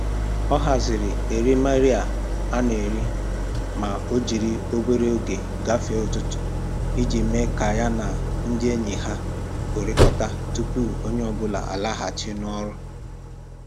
Ọ haziri erimeri a.na-eri ma o jiri obere oge gafee ụtụtụ, iji mee ka ya na ndị enyi ha hụrịkọta tupu onye ọbụla alaghachi n'ọrụ